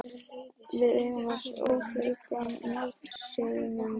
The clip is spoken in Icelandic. Við eigum við öfluga mótstöðumenn að etja.